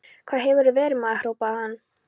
Hvar hefurðu verið, maður? hrópaði hann.